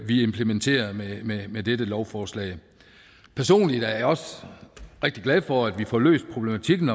vi implementerer med dette lovforslag personligt er jeg også rigtig glad for at vi får løst problematikken